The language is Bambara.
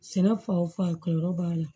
Sɛnɛ fan o fan ka yɔrɔ b'a la